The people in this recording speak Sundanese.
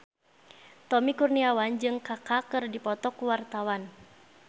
Tommy Kurniawan jeung Kaka keur dipoto ku wartawan